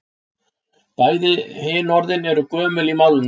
Bæði hin orðin eru gömul í málinu.